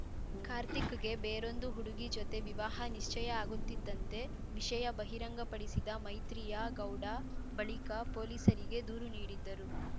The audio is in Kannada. ಕಾರ್ತಿಕ್‌ಗೆ ಬೇರೊಂದು ಹುಡುಗಿ ಜೊತೆ ವಿವಾಹ ನಿಶ್ಚಯ ಆಗುತ್ತಿದ್ದಂತೆ ವಿಷಯ ಬಹಿರಂಗಪಡಿಸಿದ ಮೈತ್ರಿಯಾ ಗೌಡ ಬಳಿಕ ಪೊಲೀಸರಿಗೆ ದೂರು ನೀಡಿದ್ದರು